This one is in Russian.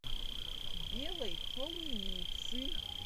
белой холуницы